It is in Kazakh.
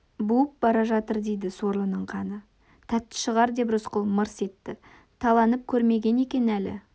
буып бара жатыр дейді сорлының қаны тәтті шығар деп рысқұл мырс етті таланып көрмеген екен әлі